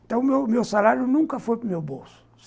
Então, o meu meu salário nunca foi para o meu bolso.